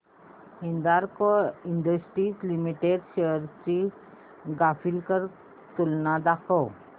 Hindalco industries limited shares ची graphical तुलना दाखव